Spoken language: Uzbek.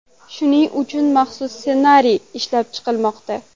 Shuning uchun maxsus ssenariy ishlab chiqilmoqda.